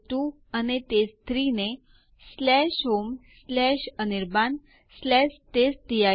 ચાલો હવે ચેક કરીએ જો યુઝર અકાઉન્ટ બની ગયેલ હોય